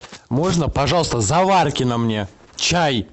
можно пожалуйста заваркина мне чай